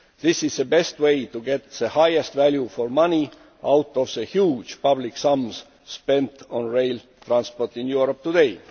This is the best way to get the highest value for money out of the huge public sums spent on rail transport in Europe today.